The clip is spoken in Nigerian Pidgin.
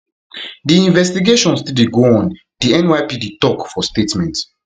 di investigation still dey go on di nypd tok for statement